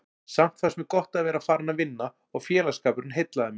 Samt fannst mér gott að vera farin að vinna og félagsskapurinn heillaði mig.